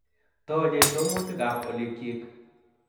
Toochei somutikab olikyik